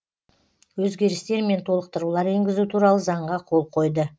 өзгерістер мен толықтырулар енгізу туралы заңға қол қойды